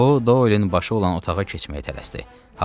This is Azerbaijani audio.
O Dollin baş olan otağa keçməyə tələsdi.